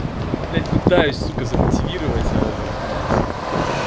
блядь пытаюсь сука замотивировать блядь